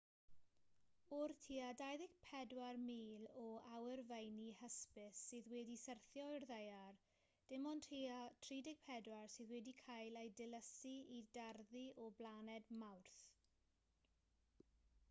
o'r tua 24,000 o awyrfeini hysbys sydd wedi syrthio i'r ddaear dim ond tua 34 sydd wedi cael eu dilysu i darddu o blaned mawrth